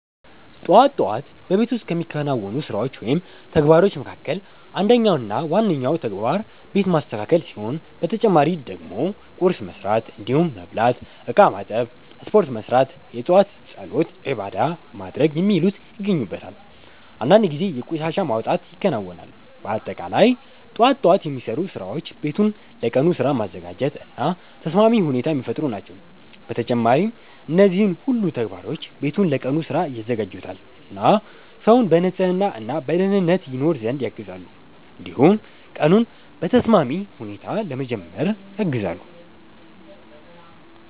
ጠዋት ጠዋት በቤት ውስጥ ከሚከናወኑ ስራዎች ወይም ተግባሮች መካከል አንደኛው እና ዋነኛው ተግባር ቤት ማስተካከል ሲሆን በተጨማሪ ደግሞ ቁርስ መስራት እንዲሁም መብላት፣ እቃ ማጠብ፣ ስፖርት መስራት፣ የጧት ፀሎት(ዒባዳ) ማድረግ የሚሉት ይገኙበታል። አንዳንድ ጊዜ የቆሻሻ መውጣት ይከናወናል። በአጠቃላይ ጠዋት ጠዋት የሚሰሩ ስራዎች ቤቱን ለቀኑ ስራ ማዘጋጀት እና ተስማሚ ሁኔታ የሚፈጥሩ ናቸው። በተጨማሪም እነዚህ ሁሉ ተግባሮች ቤቱን ለቀኑ ስራ ያዘጋጁታል እና ሰውን በንጽህና እና በደኅንነት ይኖር ዘንድ ያግዛሉ። እንዲሁም ቀኑን በተስማሚ ሁኔታ ለመጀመር ያግዛሉ።